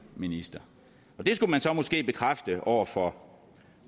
minister og det skulle man så måske bekræfte over for